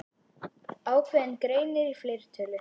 Ákveðinn greinir í fleirtölu.